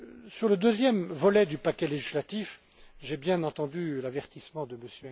Sur le deuxième volet du paquet législatif, j'ai bien entendu l'avertissement